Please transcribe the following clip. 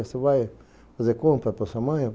Você vai fazer compra para sua mãe?